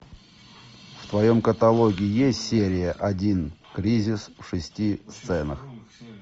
в твоем каталоге есть серия один кризис в шести сценах